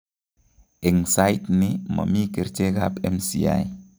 Eng' saaitni momii kerichek ab MCI